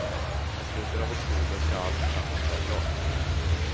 I slutet av oktober skall alltsammans vara klart.